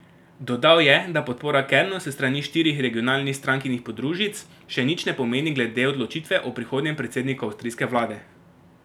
Dodal je, da podpora Kernu s strani štirih regionalnih strankinih podružnic še nič ne pomeni glede odločitve o prihodnjem predsedniku avstrijske vlade.